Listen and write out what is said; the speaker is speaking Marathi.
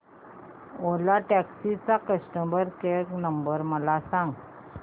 ओला टॅक्सी चा कस्टमर केअर नंबर मला सांग